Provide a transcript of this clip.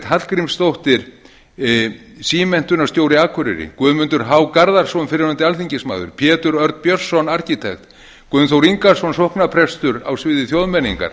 hallgrímsdóttir símenntunarstjóri akureyri guðmundur h garðarsson fyrrverandi alþingismaður pétur örn björnsson arkitekt gunnþór ingason sóknarprestur á sviði þjóðmenningar